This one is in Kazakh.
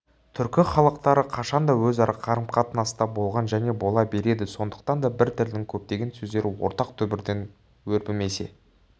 түркі халықтары қашанда өзара қарым-қатынаста болған және бола береді сондықтан да бір тілдің көптеген сөздері ортақ түбірден өрбімесе